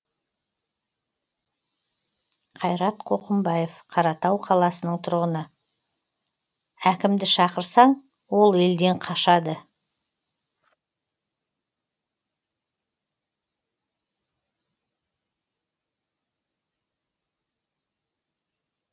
қайрат қоқымбаев қаратау қаласының тұрғыны әкімді шақырсаң ол елден қашады